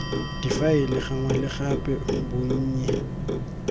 difaele gangwe le gape bonnye